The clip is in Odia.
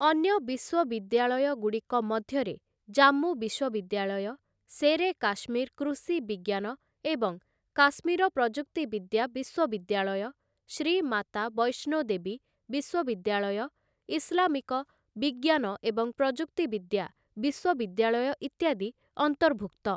ଅନ୍ୟ ବିଶ୍ୱବିଦ୍ୟାଳୟଗୁଡ଼ିକ ମଧ୍ୟରେ ଜାମ୍ମୁ ବିଶ୍ୱବିଦ୍ୟାଳୟ, ଶେର୍‌ଏକାଶ୍ମୀର କୃଷି ବିଜ୍ଞାନ ଏବଂ କାଶ୍ମୀର ପ୍ରଯୁକ୍ତି ବିଦ୍ୟା ବିଶ୍ୱବିଦ୍ୟାଳୟ, ଶ୍ରୀ ମାତା ବୈଷ୍ଣୋ ଦେବୀ ବିଶ୍ୱବିଦ୍ୟାଳୟ, ଇସ୍‌ଲାମିକ ବିଜ୍ଞାନ ଏବଂ ପ୍ରଯୁକ୍ତି ବିଦ୍ୟା ବିଶ୍ୱବିଦ୍ୟାଳୟ ଇତ୍ୟାଦି ଅନ୍ତର୍ଭୁକ୍ତ ।